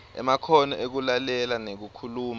emakhono ekulalela nekukhuluma